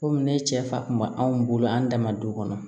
Komi ne cɛ fa kun ma anw bolo an dama du kɔnɔ